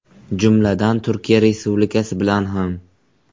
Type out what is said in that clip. Jumladan Turkiya Respublikasi bilan ham.